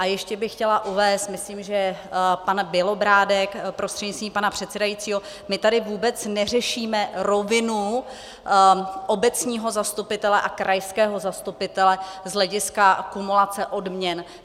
A ještě bych chtěla uvést, myslím, že pan Bělobrádek prostřednictvím pana předsedajícího, my tady vůbec neřešíme rovinu obecního zastupitele a krajského zastupitele z hlediska kumulace odměn.